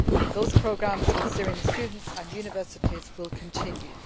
Those programmes with Syrian students and universities will continue.